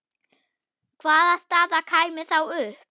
Hvaða staða kæmi þá upp?